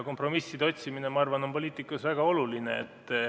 Kompromisside otsimine, ma arvan, on poliitikas väga oluline.